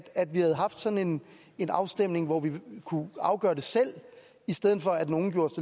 vi havde haft sådan en afstemning hvor vi kunne afgøre det selv i stedet for at nogen